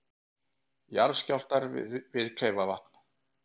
Jarðskjálftar við Kleifarvatn